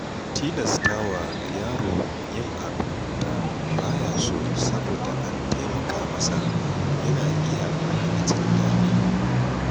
Tilastawa yaro yin abin da ba ya so saboda an taimaka masa yana iya hana jin daɗi.